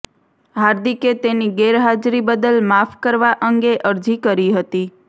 હાર્દિકે તેની ગેરહાજરી બદલ માફ કરવા અંગે અરજી કરી હતી